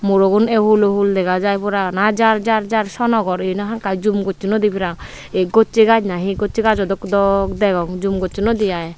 muro gun ei hul ohul dega jai pura ana jar jar jar sono gor yeno hakkai jum gossonnoi parang ei gossey gaz na hi na gossey gazo dok dok degong jum gossonnoidey i.